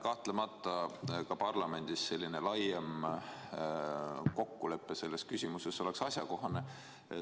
Kahtlemata ka parlamendis selline laiem kokkulepe selles küsimuses oleks asjakohane.